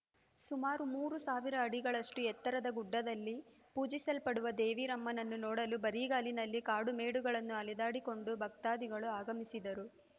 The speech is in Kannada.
ಸುಮಾರು ಮೂರು ಸಾವಿರ ಅಡಿಗಳಷ್ಟುಎತ್ತರದ ಗುಡ್ಡದಲ್ಲಿ ಪೂಜಿಸಲ್ಪಡುವ ದೇವಿರಮ್ಮನನ್ನು ನೋಡಲು ಬರಿಗಾಲಿನಲ್ಲಿ ಕಾಡುಮೇಡುಗಳನ್ನು ಅಲೆದುಕೊಂಡು ಭಕ್ತಾಧಿಗಳು ಆಗಮಿಸಿದರು